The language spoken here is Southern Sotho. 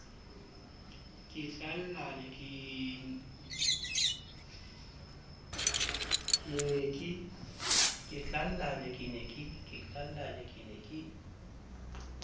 ke tlallane ke ne ke